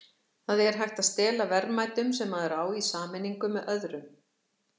Það er hægt að stela verðmætum sem maður á í sameiningu með öðrum.